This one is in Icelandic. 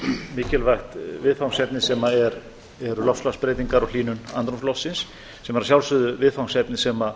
mikilvægt viðfangsefni sem eru loftslagsbreytingar og hlýnun andrúmsloftsins sem er að sjálfsögðu viðfangsefni sem